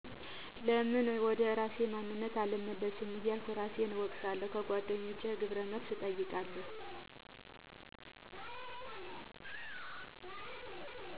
ለምን ወደ እራሴ ማንነት አልመለስም እያልኩ እራሴን እወቅሳለሁ። ከጎደኛቸ ግብረ መልስ እጠይቃለሁ።